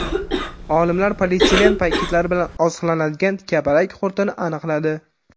Olimlar polietilen paketlari bilan oziqlanadigan kapalak qurtini aniqladi.